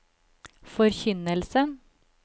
forkynnelsen